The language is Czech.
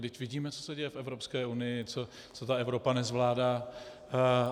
Vždyť vidíme, co se děje v Evropské unii, co ta Evropa nezvládá.